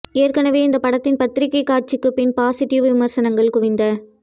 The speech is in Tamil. ஏற்கனவே இந்த படத்தின் பத்திரிகை காட்சிக்கு பின் பாசிட்டிவ் விமர்சனங்கள் குவிந்த